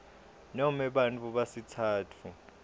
nome bantfu besitsatfu